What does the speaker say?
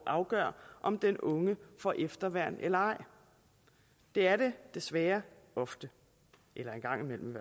afgør om den unge får efterværn eller ej det er det desværre ofte eller en gang imellem